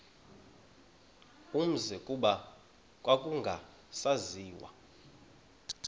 umzi kuba kwakungasaziwa